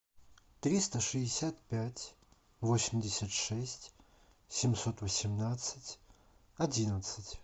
триста шестьдесят пять восемьдесят шесть семьсот восемнадцать одиннадцать